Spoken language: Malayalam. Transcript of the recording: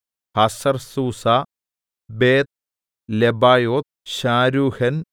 ഹസർസൂസ ബേത്ത്ലെബായോത്ത് ശാരൂഹെൻ